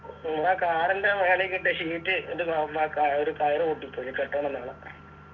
നിങ്ങള car ൻ്റെ മേലേക്കിട്ട sheet ൻ്റെ ഒന്നാക്കാ ഒര് കയറ് പൊട്ടിപ്പോയി നി കെട്ടണം നാള